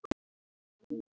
En ekki hverjir?